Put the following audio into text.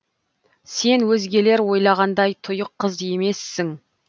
сен өзгелер ойлағандай тұйық қыз емессің